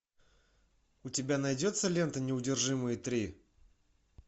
у тебя найдется лента неудержимые три